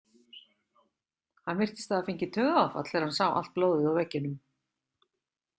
Hann virtist hafa fengið taugaáfall þegar hann sá allt blóðið á veggjunum.